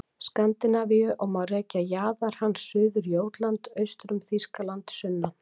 Skandinavíu og má rekja jaðar hans suður Jótland, austur um Þýskaland sunnan